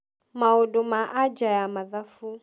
Maundu ma aja ya mathabu